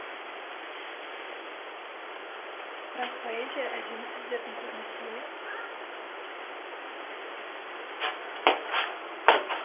бірақ поэзия әдемі сөздердің көрмесі емес қой